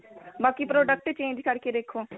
ਬਾਕੀ product change ਕਰ ਕੇ ਦੇਖੋ